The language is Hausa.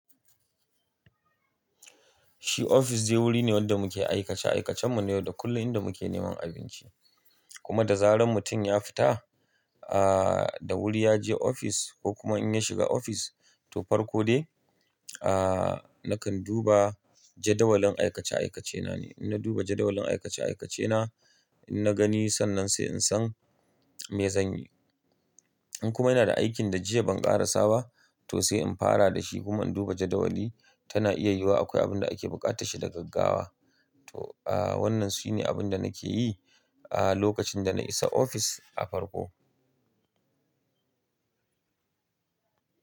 Shi ofis dai wuri ne wanda muke aikace-aikacen mu ne yau da kullum inda muke neman abinci. Kuma da zaran mutum ya fita, aa da wuri ya je ofis ko kuma in ya shiga ofis to farko dai aa nakan duba jadawalin aikace-aikace na ne. In na duba jadawalin aikace-aikace na, in na gani sannan sai in san me zan yi. In kuma yana da aikin da jiya ban ƙarasa ba to sai in fara da shi kuma in duba jadawali tana iya yiwuwa akwai abin da ake bukatar shi da gaggawa. To aa wannan su ne abin da nake yi aa lokacin da na isa ofis a farko.